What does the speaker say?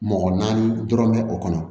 Mɔgɔ naani dɔrɔn mɛ o kɔnɔ